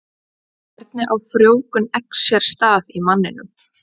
Hvernig á frjóvgun eggs sér stað í manninum?